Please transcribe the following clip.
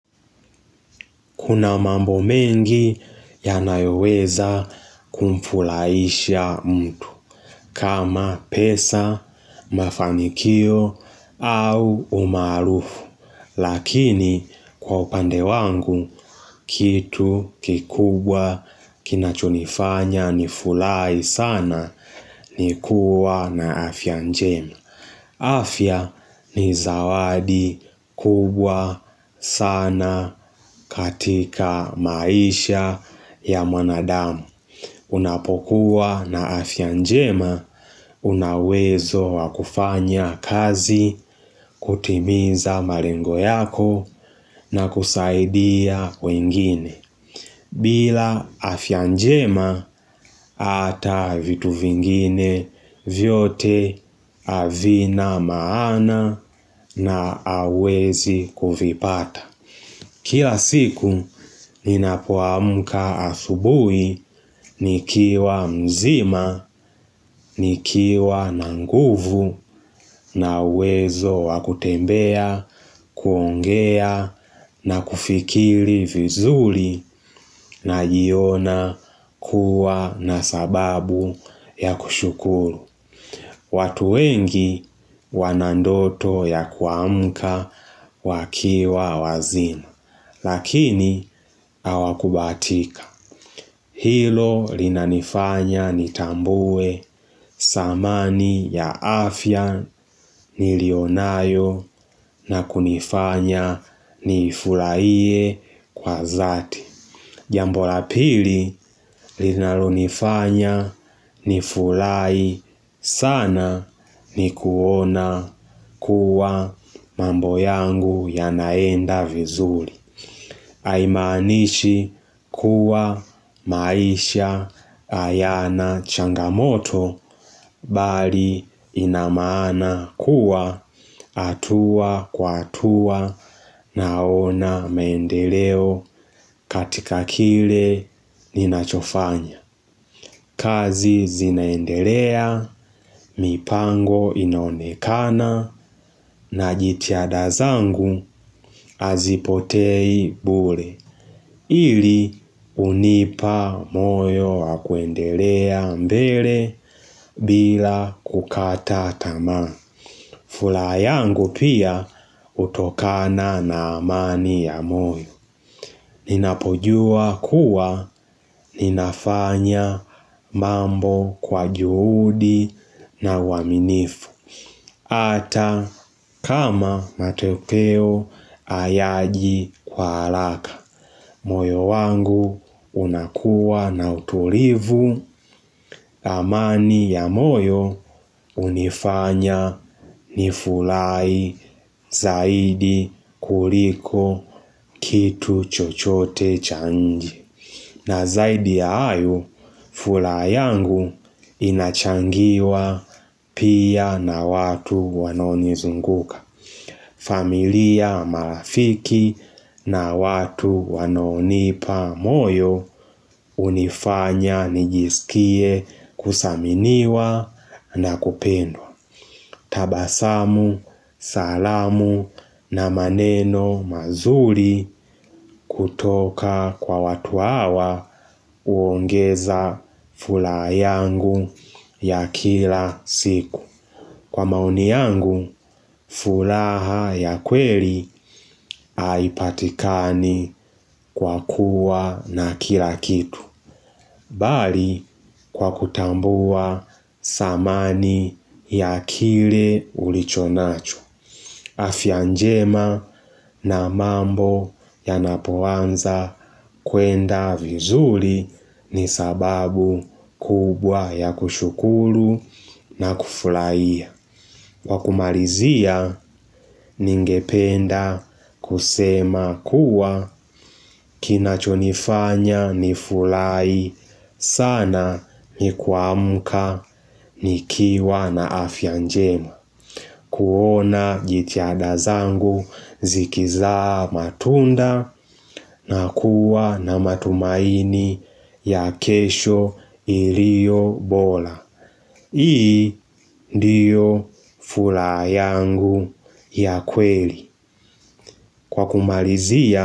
Kuna mambo mengi yanayoweza kumfuraisha mtu kama pesa, mafanikio au umaarufu. Lakini kwa upande wangu, kitu kikubwa kinachunifanya nifurahi sana ni kuwa na afya njema. Afya ni zawadi kubwa sana katika maisha ya mwanadamu Unapokuwa na afya njema unawezo wa kufanya kazi kutimiza malengo yako na kusaidia wengine bila afya njema hata vitu vingine vyote havina maana na hawezi kuvipata. Kila siku ninapoamka asubuhi nikiwa mzima, nikiwa na nguvu nawezo wa kutembea, kuongea na kufikiri vizuri najiona kuwa na sababu ya kushukuru. Watu wengi wanandoto ya kuamka wakiwa wazima, lakini hawakubatika. Hilo linanifanya nitambue samani ya afya nilionayo na kunifanya nifurahie kwa dhati. Jambo la pili linalonifanya nifurahi sana ni kuona kuwa mambo yangu yanaenda vizuri. Aimanishi kuwa maisha hayana changamoto bali inamana kuwa hatua kwa hatua naona maendeleo katika kile ninachofanya. Kazi zinaendelea, mipango inonekana najithiada dazangu hazipotei bure. Ili unipa moyo wa kwendelea mbele bila kukata tamaa. Furaha yangu pia utokana na amani ya moyo. Ninapojua kuwa ninafanya mambo kwa juhudi na uaminifu. Hata kama matokeo hayaji kwa haraka. Moyo wangu unakuwa na utulivu amani ya moyo unifanya ni furahi zaidi kuliko kitu chochote cha nje. Na zaidi ya hayo, furaha yangu inachangiwa pia na watu wanaonizunguka. Familia marafiki na watu wanaonipa moyo unifanya nijisikie kuthaminiwa na kupendwa. Tabasamu, salamu na maneno mazuri kutoka kwa watu hawa uongeza furaha yangu ya kila siku. Kwa maoni yangu, furaha ya kweli haipatikani kwa kuwa na kila kitu, bali kwa kutambua samani ya kile ulichonacho. Afya njema na mambo yanapoanza kuenda vizuri ni sababu kubwa ya kushukuru na kufurahia. Kwa kumalizia ningependa kusema kuwa kinachonifanya ni furahi sana ni kuamka nikiwa na afya njema. Kuona jithiada zangu zikisaa matunda na kuwa na matumaini ya kesho iliyo bora. Hii ndiyo furaha yangu ya kweli kwa kumalizia.